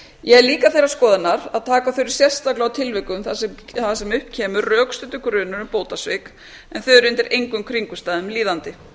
ég er líka þeirrar skoðunar að taka þurfi sérstaklega á tilvikum þar sem upp kemur rökstuddur grunur um bótasvik en þau eru undir engum kringumstæðum líðandi